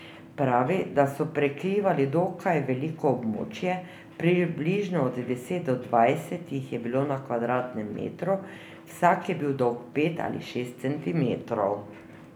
Pravi, da so prekrivali dokaj veliko območje, približno od deset do dvajset jih je bilo na kvadratnem metru, vsak je bil dolg pet ali šest centimetrov.